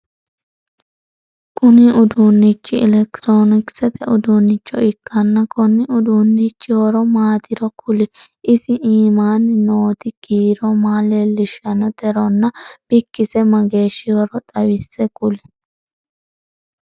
Kunni uduunichi elekitiroonikisete uduunicho ikanna konni uduunichi horo maatiro kuli? Isi iimaanni nooti kiiro maa leelishanoteronna bikise mageeshihoro xawise kuli?